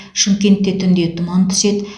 шымкентте түнде тұман түседі